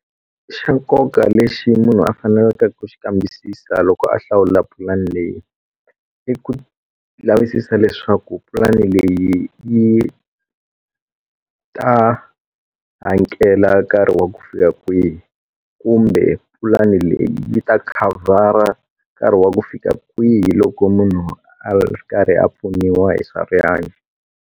Xa nkoka lexi munhu a fanelaka ku xi kambisisa loko a hlawula pulani leyi i ku lavisisa leswaku pulani leyi yi ta hakela nkarhi wa ku fika kwihi kumbe pulani leyi yi ta khavhara nkarhi wa ku fika kwihi loko munhu a karhi a pfuniwa hi swa rihanyo.